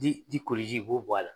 Di di koliji i b'o bɔ a la